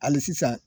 Hali sisan